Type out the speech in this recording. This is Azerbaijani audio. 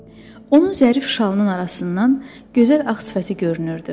Onun zərif şalının arasından gözəl ağ sifəti görünürdü.